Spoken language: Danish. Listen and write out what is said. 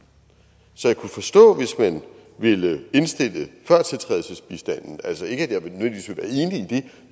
så jeg kunne forstå hvis man ville indstille førtiltrædelsesbistanden altså ikke